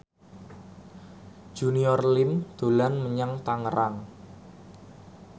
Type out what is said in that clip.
Junior Liem dolan menyang Tangerang